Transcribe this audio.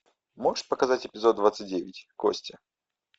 можешь показать эпизод двадцать девять кости